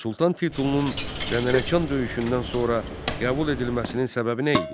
Sultan titulunun Dəndənəkan döyüşündən sonra qəbul edilməsinin səbəbi nə idi?